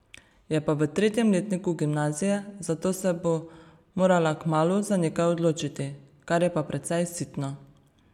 Je pa v tretjem letniku gimnazije, zato se bo morala kmalu za nekaj odločiti, kar je pa precej sitno.